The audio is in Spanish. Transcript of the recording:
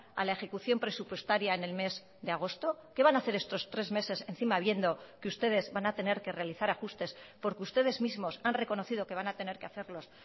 a la ejecución presupuestaria en el mes de agosto qué van a hacer estos tres meses encima viendo que ustedes van a tener que realizar ajustes porque ustedes mismos han reconocido que van a tener que hacerlos